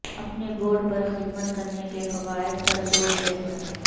اپنے بورڈ پر خدمت کرنے کے فوائد پر زور دیں